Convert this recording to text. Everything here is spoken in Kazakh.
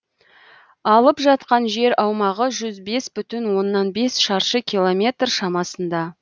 алып жатқан жер аумағы жүз бес бүтін оннан бес шаршы километр шамасында